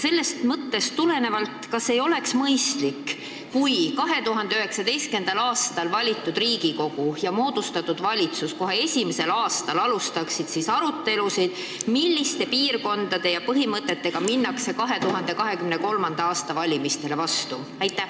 Sellest mõttest tulenevalt küsin: kas ei oleks mõistlik, kui 2019. aastal valitud Riigikogu ja moodustatud valitsus kohe esimesel aastal alustaksid arutelusid, milliste piirkondade ja põhimõtetega minnakse vastu 2023. aasta valimistele?